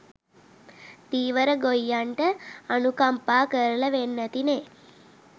ධීවර ගොයියන්ට අනුකම්පා කරලා වෙන්නැති නේ?